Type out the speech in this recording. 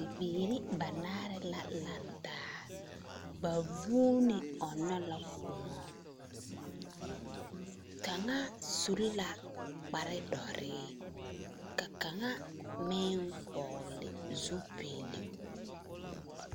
Bibiiri banaare la lantaa. Ba vuune ɔnnɔ la kõɔ. Kaŋa suri la kparedɔree, ka kaŋabmeŋ hɔɔle zupilu.